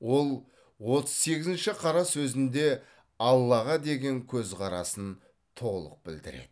ол отыз сегізінші қара сөзінде аллаға деген көзқарасын толық білдіреді